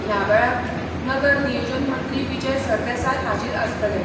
ह्या वेळार नगर नियोजन मंत्री विजय सरदेसाय हाजीर आसतले.